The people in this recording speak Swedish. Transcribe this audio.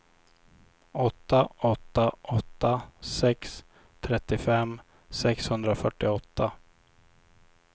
åtta åtta åtta sex trettiofem sexhundrafyrtioåtta